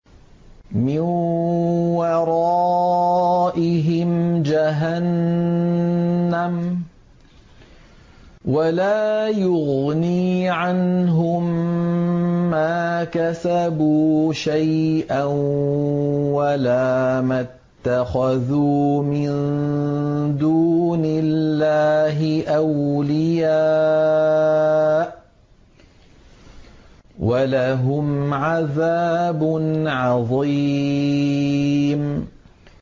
مِّن وَرَائِهِمْ جَهَنَّمُ ۖ وَلَا يُغْنِي عَنْهُم مَّا كَسَبُوا شَيْئًا وَلَا مَا اتَّخَذُوا مِن دُونِ اللَّهِ أَوْلِيَاءَ ۖ وَلَهُمْ عَذَابٌ عَظِيمٌ